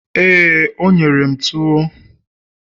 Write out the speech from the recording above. éè, o nyere m tuwo